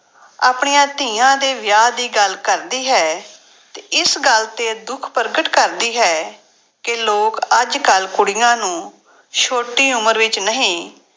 ਆਪਣੀਆਂ ਧੀਆਂ ਦੇ ਵਿਆਹ ਦੀ ਗੱਲ ਕਰਦੀ ਹੈ ਇਸ ਗੱਲ ਤੇ ਦੁੱਖ ਪ੍ਰਗਟ ਕਰਦੀ ਹੈ ਕਿ ਲੋਕ ਅੱਜ ਕੱਲ੍ਹ ਕੁੜੀਆਂ ਨੂੰ ਛੋਟੀ ਉਮਰ ਵਿੱਚ ਨਹੀਂ